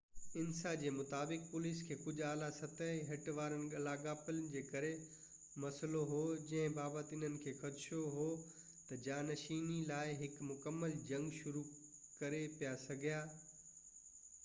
انسا جي مطابق، پوليس کي ڪجهه اعليٰ سطحي هٽ وارن لاڳاپن جي ڪري مسئلو هو جن بابت انهن کي خدشو هو ته جانشيني لاءِ هڪ مڪمل جنگ شروع ڪري پئي سگهيا